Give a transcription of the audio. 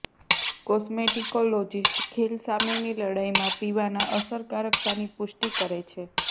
cosmetologist ખીલ સામેની લડાઈમાં પીવાના અસરકારકતાની પુષ્ટિ કરે છે